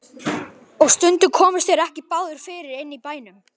Og stundum komust þeir ekki báðir fyrir inni í bænum.